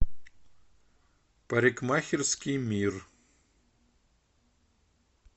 парикмахерский мир